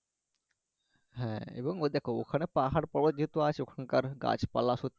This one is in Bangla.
হ্যা এবং ওই দেখো ওখানে পাহাড় পর্বত যেহেতু আছে ওখানকার গাছপালা